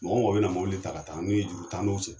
Mɔgɔ mɔgɔ bɛna mobili ta ka taa juru t'an n'o cɛ